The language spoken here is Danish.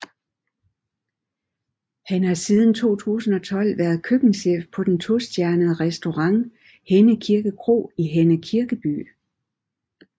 Han har siden 2012 været køkkenchef på den tostjernede restaurant Henne Kirkeby Kro i Henne Kirkeby